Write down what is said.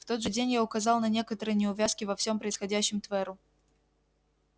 в тот же день я указал на некоторые неувязки во всём происходящем тверу